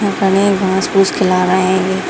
उ तनी घास-फुस खिला रहे हैंगे।